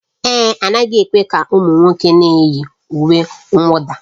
Èé, a naghị ekwe ka ụmụ nwoke na-eyi uwe mwụda